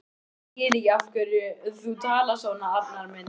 Ég skil ekki af hverju þú talar svona, Arnar minn.